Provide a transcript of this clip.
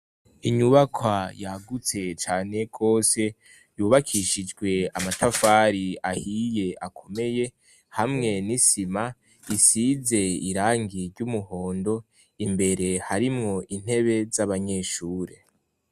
Inyubakwa yagutse cane gose, yubakishijwe amatafari ahiye akomeye hamwe n'isima isize irangi ry'umuhondo, imbere harimwo intebe z'abanyeshure.